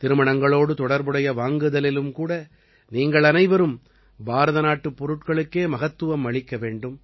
திருமணங்களோடு தொடர்புடைய வாங்குதலிலும் கூட நீங்கள் அனைவரும் பாரதநாட்டுப் பொருட்களுக்கே மகத்துவம் அளிக்க வேண்டும்